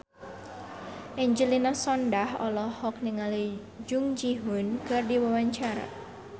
Angelina Sondakh olohok ningali Jung Ji Hoon keur diwawancara